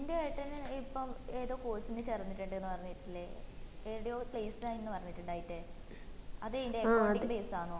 നിന്റെ ഏട്ടന് ഇപ്പം ഏതോ course ന് ചേർന്നിട്ടുണ്ട് പറഞ്ഞിറ്റിലെ എടെയോ placed ആയിന്നു പറഞ്ഞിട്ടിണ്ടായിട്ടേ അത് എയിന്റെ base ആണോ